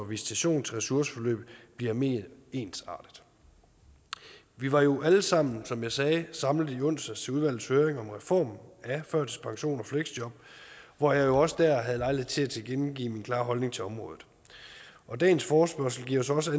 visitation til ressourceforløbet bliver mere ensartet vi var jo alle sammen som jeg sagde samlet i onsdags til udvalgets høring om reformen af førtidspension og fleksjob hvor jeg jo også der havde lejlighed til at tilkendegive min klare holdning til området og dagens forespørgsel giver så også